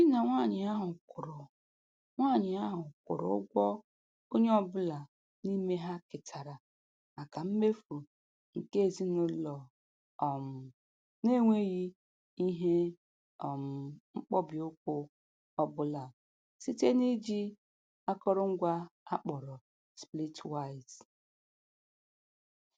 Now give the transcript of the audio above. Di na nwanyị ahụ kwụrụ nwanyị ahụ kwụrụ ụgwọ onye ọbụla n'ime ha ketara maka mmefu nke ezinụlọ um n'enweghị ihe um mkpọbi ụkwụ ọbụla site na-iji akụrụngwa a kpọrọ Splitwise